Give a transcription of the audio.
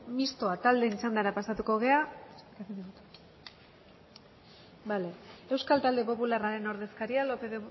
euskal talde popularraren ordezkaria